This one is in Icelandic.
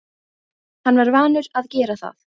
Hann var vanur að gera það.